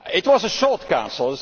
It was a short Council